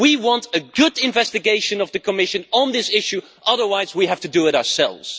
We want a good investigation by the Commission on this issue, otherwise we will have to do it ourselves.